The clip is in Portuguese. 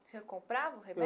O senhor comprava o